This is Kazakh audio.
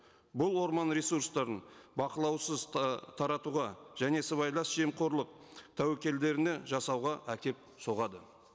бұл орман ресурстарын бақылаусыз таратуға және сыбайлас жемқорлық тәуекелдеріне жасауға әкеліп соғады